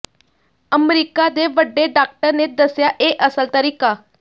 America ਦੇ ਵਡੇ doctor ਨੇ ਦੱਸਿਆ ਇਹ ਅਸਲ ਤਰੀਕਾ